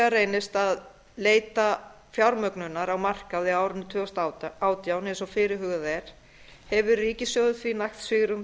reynist að leita fjármögnunar á markaði á árinu tvö þúsund og átján eins og fyrirhugað er hefur ríkissjóður því nægt svigrúm